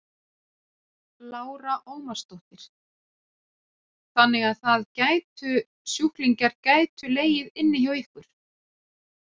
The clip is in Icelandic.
Lára Ómarsdóttir: Þannig að það gætu sjúklingar gætu legið inni hjá ykkur?